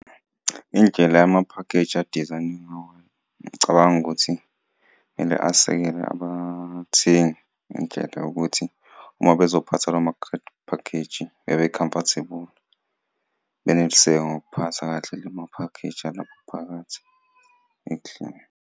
Indlela yamaphakheji a-design-we ngicabanga ukuthi mele asekele abathengi indlela yokuthi uma bezophatha la bebe comfortable, beneliseke ngokuphatha kahle la maphakheji alapho phakathi .